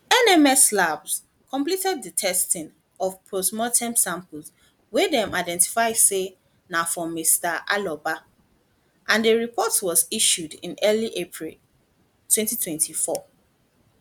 nms labs complete di testing of postmortem samples wey dem identify say na from mr aloba and a report was issued in early april 2024